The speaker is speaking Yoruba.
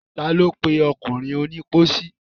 Ta lo pe ọkùnrin onípósí?